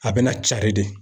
A bɛ na cari de.